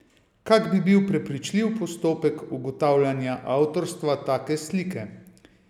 Kak bi bil prepričljiv postopek ugotavljanja avtorstva take slike?